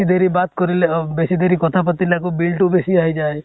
C দেৰি বাত কৰিলে অহ বেছি দেৰি কথা পাতিলে আকৌ bill টো বেছি আহি যায়।